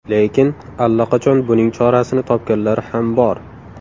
Lekin allaqachon buning chorasini topganlar ham bor.